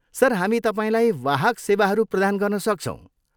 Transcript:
Sir, हामी तपाईँलाई वाहक सेवाहरू प्रदान गर्न सक्छौँ।